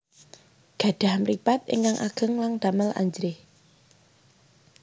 Gadhah mripat ingkang ageng lan damel ajrih